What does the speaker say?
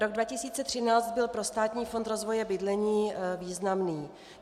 Rok 2013 byl pro Státní fond rozvoje bydlení významný.